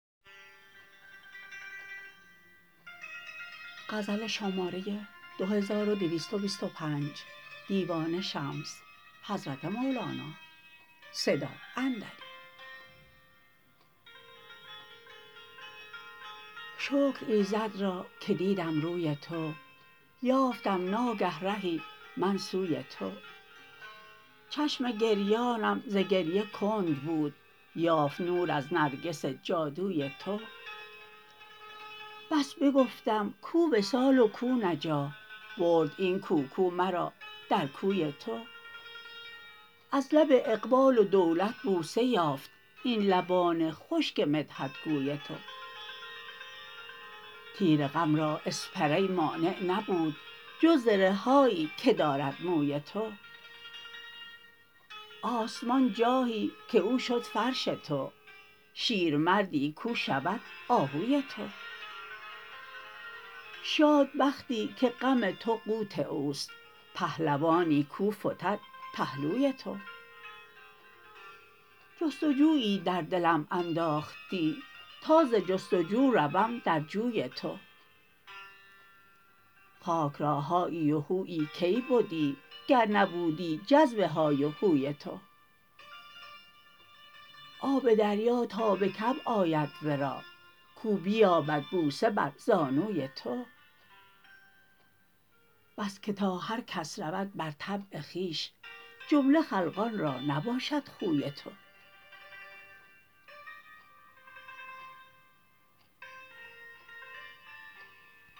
شکر ایزد را که دیدم روی تو یافتم ناگه رهی من سوی تو چشم گریانم ز گریه کند بود یافت نور از نرگس جادوی تو بس بگفتم کو وصال و کو نجاح برد این کو کو مرا در کوی تو از لب اقبال و دولت بوسه یافت این لبان خشک مدحت گوی تو تیر غم را اسپری مانع نبود جز زره هایی که دارد موی تو آسمان جاهی که او شد فرش تو شیرمردی کو شود آهوی تو شاد بختی که غم تو قوت اوست پهلوانی کو فتد پهلوی تو جست و جویی در دلم انداختی تا ز جست و جو روم در جوی تو خاک را هایی و هویی کی بدی گر نبودی جذب های و هوی تو آب دریا تا به کعب آید ورا کو بیابد بوسه بر زانوی تو بس که تا هر کس رود بر طبع خویش جمله خلقان را نباشد خوی تو